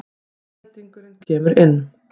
Geldingurinn kemur inn.